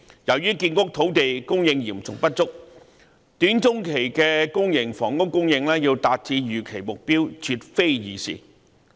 由於建屋土地供應嚴重不足，短中期的公營房屋供應要達致預期目標絕非易事。